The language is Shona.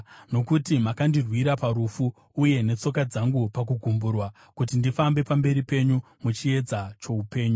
Nokuti makandirwira parufu, uye netsoka dzangu pakugumburwa, kuti ndifambe pamberi penyu muchiedza choupenyu.